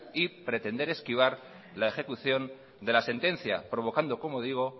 y pretender esquivar la ejecución de la sentencia provocando como digo